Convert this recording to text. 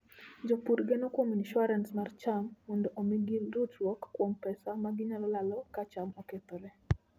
Jopur geno kuom insuarans mar cham mondo omi gi ritruok kuom pesa ma ginyalo lalo ka cham okethore.